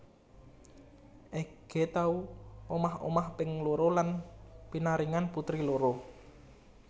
Ege tau omah omah ping loro lan pinaringan putri loro